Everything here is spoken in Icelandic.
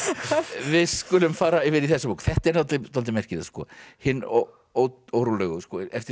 við skulum fara yfir í þessa bók þetta er dálítið merkilegt hin órólegu eftir